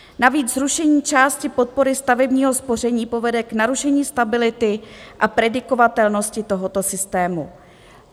Navíc zrušení části podpory stavebního spoření povede k narušení stability a predikovatelnosti tohoto systému.